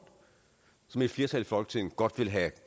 som et flertal i folketinget godt vil have